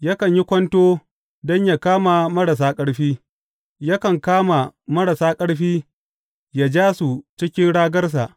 Yakan yi kwanto don yă kama marasa ƙarfi; yakan kama marasa ƙarfi yă ja su cikin ragarsa.